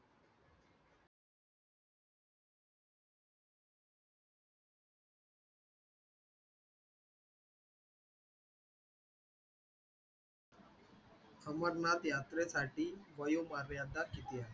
अमरनाथ यात्रेसाठी वयोमर्यादा किती आहे?